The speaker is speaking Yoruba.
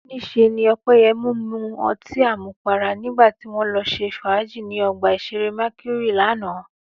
Níṣe ni Ọpẹ́yẹmí mu ọtí àmupara nígbà tí wọ́n lọ ṣe fàájì ní ọgbà ìṣeré Mercury lánàá